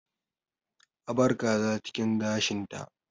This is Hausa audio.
A bar kaza cikin gashinta